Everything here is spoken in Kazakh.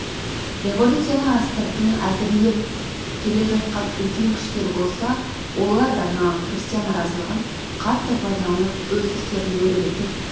революцияны астыртын әзірлеп келе жатқан үлкен күштер болса олар да жаңағы крестьян наразылығын қатты пайдаланып өз істерін өрбітіп